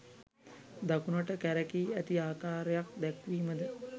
දකුණට කැරැකී ඇති ආකාරයක් දැක්වීමද